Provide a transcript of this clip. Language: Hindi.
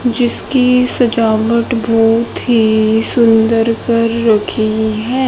जिसकी सजावट बहुत ही सुंदर कर रखी है।